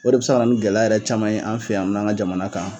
O de bi se ka na ni gɛlɛ yɛrɛ caman ye an fɛ yan an ka jamana kan.